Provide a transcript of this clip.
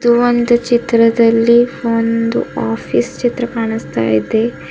ಒಂದು ಚಿತ್ರದಲ್ಲಿ ಒಂದು ಆಫೀಸ್ ಚಿತ್ರ ಕಾಣುಸ್ತ ಇದೆ.